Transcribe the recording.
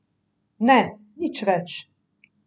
Ne, nič več.